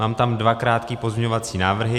Mám tam dva krátké pozměňovací návrhy.